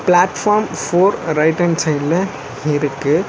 Platform four right hand சைட்ல இருக்கு.